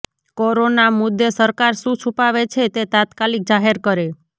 corona મુદ્દે સરકાર શુ છુપાવે છે તે તાત્કાલિક જાહેર કરે